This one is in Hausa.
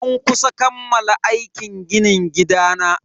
An kusa kammala aikin ginin gidana.